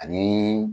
Ani